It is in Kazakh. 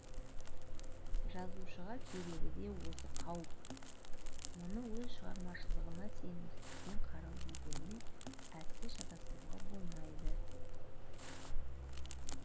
жазушыға керегі де осы қауіп мұны өз шығарамашылығына сенімсіздікпен қарау дегенмен әсте шатастыруға болмайды